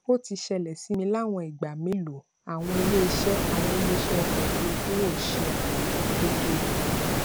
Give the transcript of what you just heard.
ó ti ṣẹlẹ sí mi láwọn ìgbà mélòó àwọn iléiṣẹ àwọn iléiṣẹ ọkọ òfurufú ò ṣe àmójútó tó yẹ